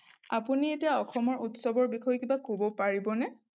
আপুনি এতিয়া অসমৰ উৎসৱৰ বিষয়ে কিবা ক'ব পাৰিবনে?